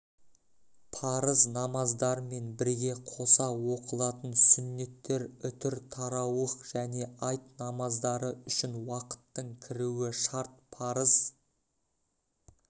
парыз намаздармен бірге қоса оқылатын сүннеттер үтір тарауых және айт намаздары үшін уақыттың кіруі шарт парыз